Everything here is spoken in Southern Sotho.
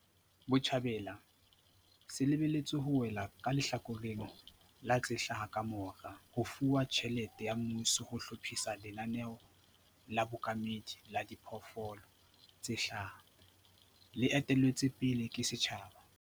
Botjhabela se lebe lletswe ho wela ka lehlakoreng la tse hlaha kamora ho fuwa tjhelete ya mmuso ho hlophisa lenaneo la bookamedi la diphoofolo tse hlaha, le etelletsweng pele ke setjhaba.